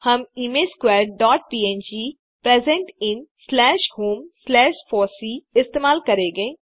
हम image squares dot png present in slash home slash fossee इस्तेमाल करेंगे